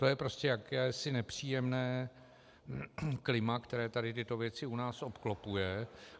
To je prostě jakési nepříjemné klima, které tady tyto věci u nás obklopuje.